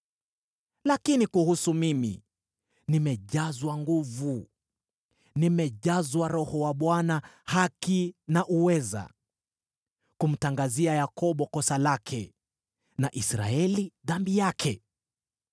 Lakini kuhusu mimi, nimejazwa nguvu, nimejazwa Roho wa Bwana , haki na uweza, kumtangazia Yakobo kosa lake, na Israeli dhambi yake.